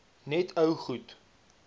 net ou goed